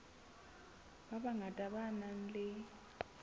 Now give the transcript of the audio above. ba bangata ba nang le